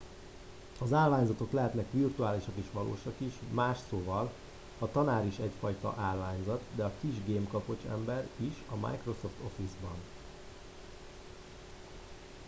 "az állványzatok lehetnek virtuálisak és valósak is más szóval a tanár is egyfajta "állványzat" de a kis gemkapocs ember is a microsoft office-ban.